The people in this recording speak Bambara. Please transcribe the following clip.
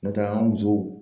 N'o tɛ an ka musow